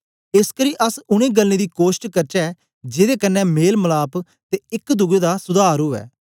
एसकरी अस उनै गल्लें दी कोष्ट करचै जेदे कन्ने मेलमलाप ते एक दुए दा सुधार उवै